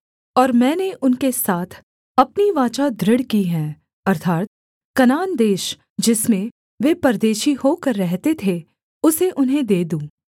और मैंने उनके साथ अपनी वाचा दृढ़ की है अर्थात् कनान देश जिसमें वे परदेशी होकर रहते थे उसे उन्हें दे दूँ